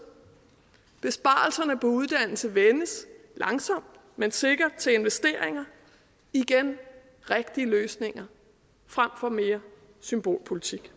besparelserne på uddannelse vendes langsomt men sikkert til investeringer igen rigtige løsninger frem for mere symbolpolitik